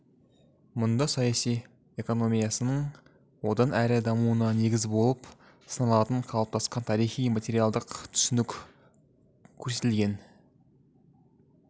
мұнда саяси экономиясының одан әрі дамуына негіз болып саналатын қалыптасқан тарихи материалдық түсінік көрсетілген